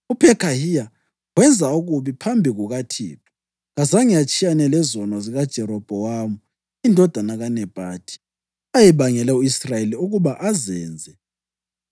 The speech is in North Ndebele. UPhekhahiya wenza okubi phambi kukaThixo. Kazange atshiyane lezono zikaJerobhowamu indodana kaNebhathi, ayebangele u-Israyeli ukuba azenze.